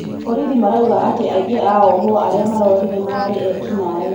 Borithi marauga atĩ aĩngĩ a ohwo aria marorire mararĩ eki naĩ